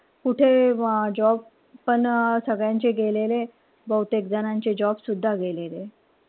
कुठे job पण सगळ्यांचे गेलेले. बहुतेक जणांचे job सुद्धा गेलेले.